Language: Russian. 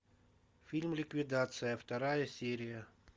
фильм ликвидация вторая серия